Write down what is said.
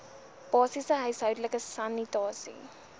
basiese huishoudelike sanitasie